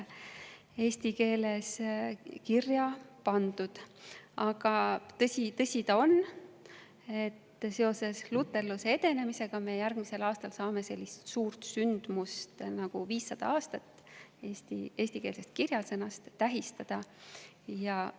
Tõsi ta on, et tänu luterluse edenemisele saame me järgmisel aastal tähistada sellist suurt sündmust nagu 500 aasta möödumist eestikeelse.